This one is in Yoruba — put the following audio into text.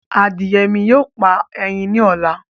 Adìye mi yóò pa ẹyin ni ọ̀la